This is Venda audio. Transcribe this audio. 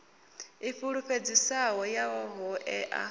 i fulufhedzisaho ya ho ea